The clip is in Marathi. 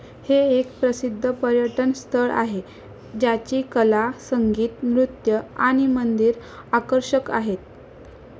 हे एक प्रसिद्ध पर्यटन स्थळ आहे ज्याची कला, संगीत, नृत्य आणि मंदिर आकर्षक आहेत.